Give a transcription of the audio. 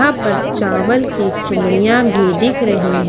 यहां पर चावल की चूड़ियां भी दिख रही है।